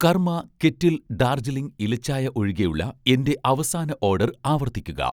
കർമ്മ കെറ്റിൽ ഡാർജിലിംഗ് ഇല ചായ ഒഴികെയുള്ള എന്‍റെ അവസാന ഓഡർ ആവർത്തിക്കുക